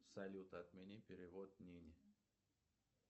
салют отмени перевод нине